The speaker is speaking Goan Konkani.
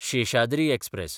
शेषाद्री एक्सप्रॅस